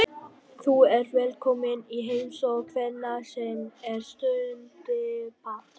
Þú ert velkominn í heimsókn hvenær sem er stundi Dadda.